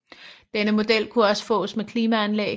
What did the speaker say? Denne model kunne også fås med klimaanlæg